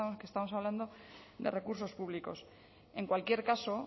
que estamos hablando de recursos públicos en cualquier caso